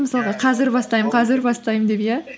мысалға қазір бастаймын қазір бастаймын деп иә